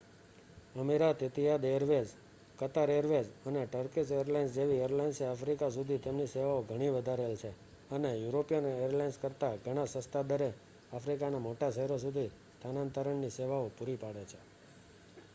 અમીરાત Etihad Airways Qatar Airways અને Turkish Airlines જેવી એરલાઇન્સે આફ્રિકા સુધી તેમની સેવાઓ ઘણી વધારેલ છે અને યુરોપિયન એરલાઇન્સ કરતાં ઘણા સસ્તા દરે આફ્રિકાના મોટા શહેરો સુધી સ્થાનાંતરણ ની સેવાઓ પૂરી પાડે છે